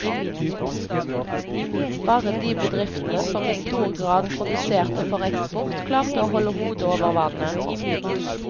Bare de bedriftene som i stor grad produserte for eksport, klarte å holde hodet over vannet.